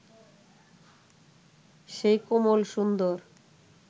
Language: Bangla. সেই কোমল সুন্দর